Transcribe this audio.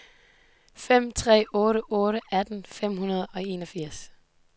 fem tre otte otte atten fem hundrede og enogfirs